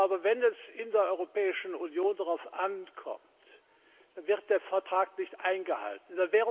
Aber wenn es in der Europäischen Union darauf ankommt, wird der Vertrag nicht eingehalten.